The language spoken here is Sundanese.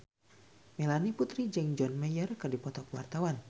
Melanie Putri jeung John Mayer keur dipoto ku wartawan